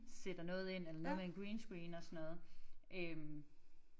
Sætter noget ind eller noget med en green screen og sådan noget øh